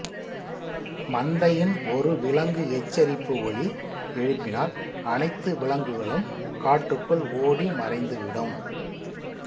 மந்தையின் ஒரு விலங்கு எச்சரிப்பு ஒலி எழுப்பினால் அனைத்து விலங்குகளும் காட்டுக்குள் ஓடி மறைந்துவிடும்